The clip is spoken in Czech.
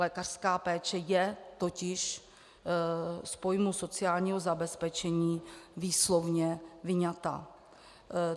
Lékařská péče je totiž z pojmu sociálního zabezpečení výslovně vyňata.